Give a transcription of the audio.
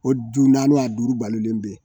O du naani a duuru balolen be ye.